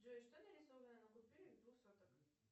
джой что нарисовано на купюре двух соток